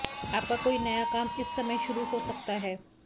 आपका कोई नया काम इस समय शुरू हो सकता है